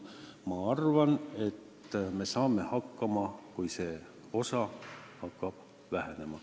Ma arvan, et me saame hakkama ka siis, kui see raha hakkab vähenema.